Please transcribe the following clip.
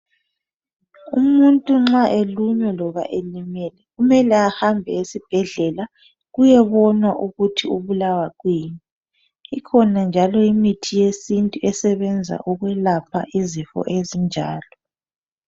Umuntu nxa elunywa loba elimele kumele ahambe eSibhedlela ,kuyebonwa ukuthi ubulawa kiyini ,ikhona njalo imithi yesintu esebenza ukwelapha izifo ezinjalo